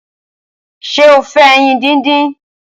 ṣe o fè ẹyin dín dín?